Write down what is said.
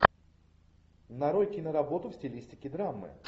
нарой киноработу в стилистике драмы